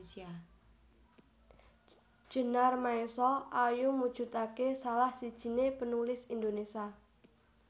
Djenar Maesa Ayu mujudake salah sijiné penulis Indonesia